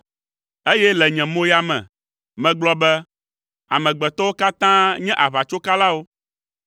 Eye le nye moya me, megblɔ be, “Amegbetɔwo katã nye aʋatsokalawo.”